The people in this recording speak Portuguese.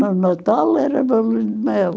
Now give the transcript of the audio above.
No Natal era bolos de mel.